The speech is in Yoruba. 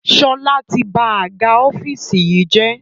Sọlá tí ba àga ọ́fíìsì yìí jẹ́